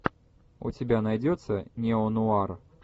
у тебя найдется неонуар